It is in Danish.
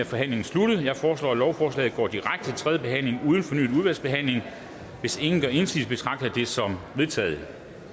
forhandlingen sluttet jeg foreslår at lovforslaget går direkte til tredje behandling uden fornyet udvalgsbehandling hvis ingen gør indsigelse betragter jeg det som vedtaget